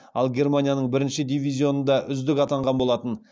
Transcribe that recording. ал германия бірінші дивизионда үздік атанған болатын